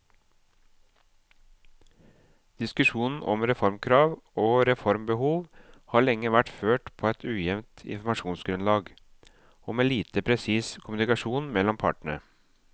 Diskusjonen om reformkrav og reformbehov har lenge vært ført på et ujevnt informasjonsgrunnlag og med lite presis kommunikasjon mellom partene.